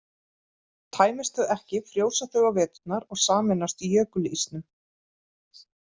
Tæmist þau ekki frjósa þau á veturna og sameinast jökulísnum.